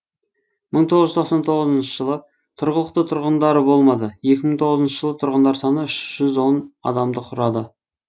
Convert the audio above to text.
мың тоғыз жүз тоқсан тоғызыншы жылы тұрғылықты тұрғындары болмады екі мың тоғызыншы жылы тұрғындар саны үш жүз он адамды құрады